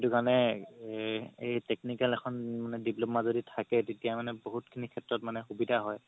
সেইটো কাৰণে এই technical এখন diploma যদি থাকে তেতিয়া মানে বহুত খিনি সেত্ৰত মানে সুবিধা হয়